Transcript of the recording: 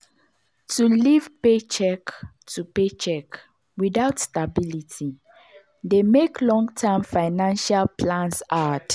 to live paycheck to paycheck without stability dey mek long-term financial plans hard.